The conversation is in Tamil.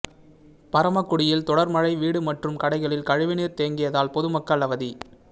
பரமக்குடியில் தொடா் மழை வீடு மற்றும் கடைகளில் கழிவுநீா் தேங்கியதால் பொதுமக்கள் அவதி